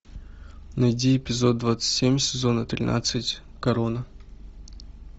найди эпизод двадцать семь сезона тринадцать корона